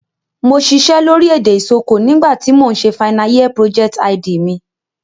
Mo sisẹ́ lórí èdè Isoko nígbà ti mo n se final year project_id mi